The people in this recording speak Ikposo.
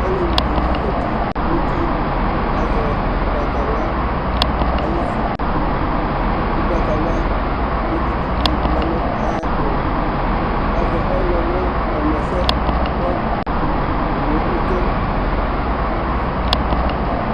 Olevi dini zati n'uti kazɛ ʋgbatawla ay'itsu, kʋ ʋgbatawla bokiti bi lɛ nʋ ayɛtʋ, k'azɛ ɔɣlɔmɔ ɔnʋ ɛsɛ k'ɔtʋ nʋ ʋtʋ